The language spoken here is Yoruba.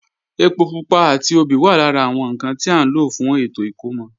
Ẹpo pupa àti obì wà lára àwọn ǹkan tí à ń lò fún ètò ìkómọ